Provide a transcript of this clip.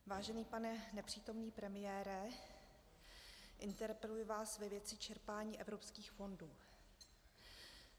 Vážený pane nepřítomný premiére, interpeluji vás ve věci čerpání evropských fondů.